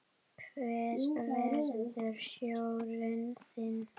Hver verður stjórinn þinn?